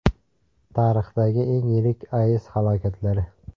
Tarixdagi eng yirik AES halokatlari.